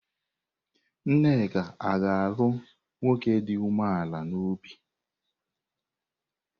Nneka ga-alụrụ nwoke dị umeala n'obi?